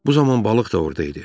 Bu zaman balıq da orda idi.